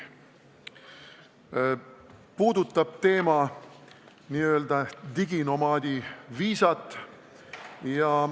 Teema puudutab n-ö diginomaadi viisat.